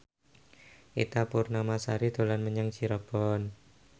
Ita Purnamasari dolan menyang Cirebon